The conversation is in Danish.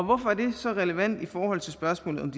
hvorfor er det så relevant i forhold til spørgsmålet om